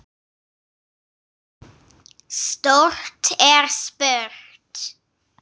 Stórt er spurt!